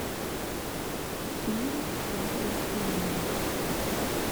фильм пятый элемент